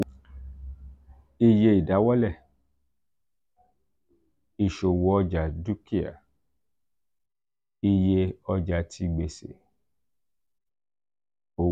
(iye idawọlẹ = iṣowo oja dukia + iye ọja ti gbese — owo).